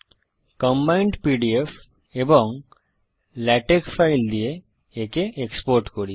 combined PDF এবং LaTeX file দিয়ে একে এক্সপোর্ট করি